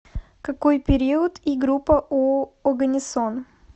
какой период и группа у оганесон